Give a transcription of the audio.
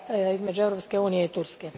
između Europske unije i Turske.